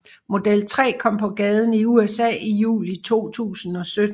Model 3 kom på gaden i USA i juli 2017